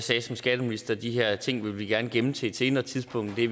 sagde som skatteminister at de her ting ville vi gerne gemme til et senere tidspunkt det